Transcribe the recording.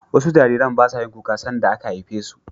wasu Jarirai basayin kuka sanda aka haifesu